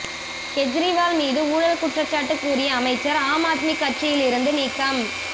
கெஜ்ரிவால் மீது ஊழல் குற்றச்சாட்டு கூறிய அமைச்சர் ஆம் ஆத்மி கட்சியில் இருந்து நீக்கம்